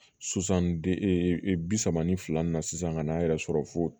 Sisan de ee bi saba ni fila ni na sisan ka n'a yɛrɛ sɔrɔ fo